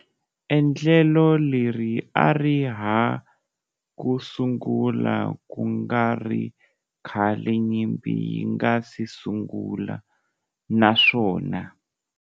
Endlelo leri a ri ha ku sungula ku nga ri khale nyimpi yi nga si sungula, naswona.